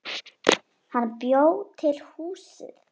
Hann bjó til húsið.